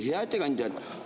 Hea ettekandja!